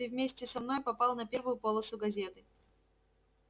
ты вместе со мной попал на первую полосу газеты